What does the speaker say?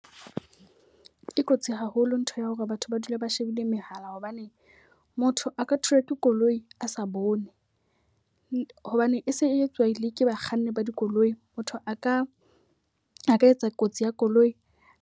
E kotsi haholo ntho ya hore batho ba dula ba shebile mehala hobane motho a ka thulwa ke koloi a sa bone. Hobane e se e etswa le ke bakganni ba dikoloi. Motho a ka a ka etsa kotsi ya koloi.